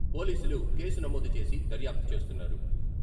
పోలీసులు కేసు నమోదు చేసి దర్యాప్తు చేస్తున్నారు.